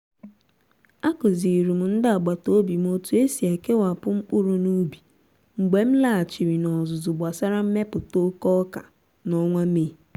a kụzirim ndị agbata obi m otu esi kewapụ mkpụrụ n’ubi mgbe m laghachiri n'ọzụzụ gbasara mmepụta oke oka n'ọnwa mee.